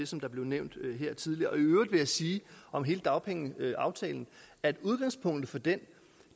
som der blev nævnt her tidligere og i øvrigt vil jeg sige om hele dagpengeaftalen at udgangspunktet for den